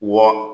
Wɔ